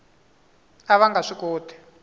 a va nga swi koti